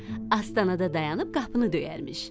Astanada dayanıb qapını döyərmiş.